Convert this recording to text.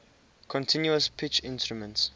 continuous pitch instruments